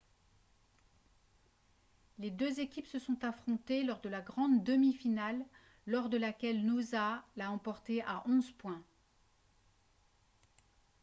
les deux équipes se sont affrontées lors de la grande demi-finale lors de laquelle noosa l'a emporté à 11 points